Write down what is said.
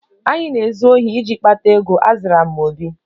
Anyị na-ezu ohi iji kpata ego, azara m obi